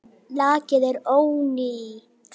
Lakið er ónýtt!